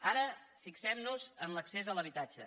ara fixem nos en l’accés a l’habitatge